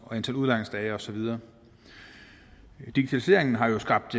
antal udlejningsdage og så videre digitaliseringen har jo skabt